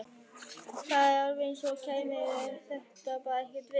Það var eins og henni kæmi þetta bara ekkert við.